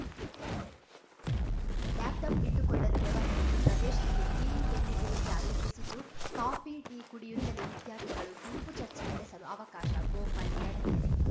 laptop ಇಟ್ಟುಕೊಳ್ಳಲು ವ್ಯವಸ್ಥೆ ಈ ಪ್ರದೇಶದಲ್ಲಿ ಗ್ರೀನ್‌ ಕೆಫಿಟೇರಿಯಾ ರೂಪಿಸಿದ್ದು ಕಾಫಿ ಟೀ ಕುಡಿಯುತ್ತಲೇ ವಿದ್ಯಾರ್ಥಿಗಳು ಗುಂಪು ಚರ್ಚೆ ನಡೆಸಲು ಅವಕಾಶ ಗೋಪಾಲ್‌ ಯಡಗೆರೆ